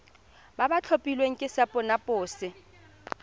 ba ba tlhophilweng ke sacnasp